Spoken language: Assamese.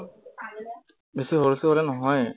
বেছি হুলস্থুল হলে নহয়েই